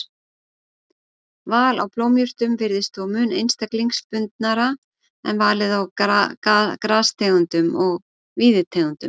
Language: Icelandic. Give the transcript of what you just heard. Val á blómjurtum virðist þó mun einstaklingsbundnara en valið á grastegundum og víðitegundum.